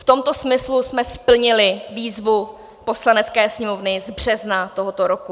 V tomto smyslu jsme splnili výzvu Poslanecké sněmovny z března tohoto roku.